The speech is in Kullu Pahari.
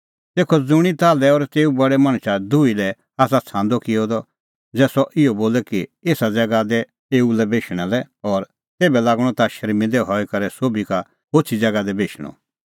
तेखअ ज़ुंणी ताल्है और तेऊ बडै मणछा दुही लै आसा छ़ांदअ किअ द ज़ै सह इहअ बोले कि एसा ज़ैगा दै एऊ लै बेशणा लै और तेभै लागणअ ता शर्मिंदै हई करै सोभी का होछ़ी ज़ैगा दी बेशणअ